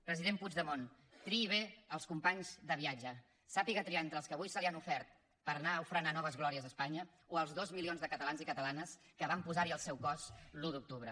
president puigdemont triï bé els companys de viatge sàpiga triar entre els que avui se li han ofert per anar a ofrenar noves glòries a espanya o els dos milions de catalans i catalanes que van posar hi el seu cos l’un d’octubre